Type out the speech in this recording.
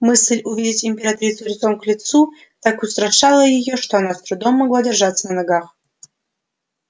мысль увидеть императрицу лицом к лицу так устрашала её что она с трудом могла держаться на ногах